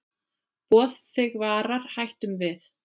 Boð þig varar hættum við.